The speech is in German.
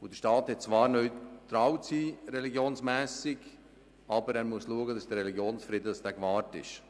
Der Staat hat zwar religionsmässig neutral zu sein, aber er muss schauen, dass der Religionsfrieden gewahrt ist.